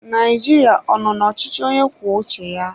Nigeria ọ nọ na ọchịchị onye kwuo uche ya?